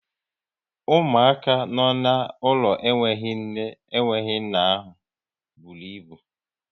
Ụmụaka nọ n'ụlọ enwe nne, enwe nna ahụ bụrụ ịbụ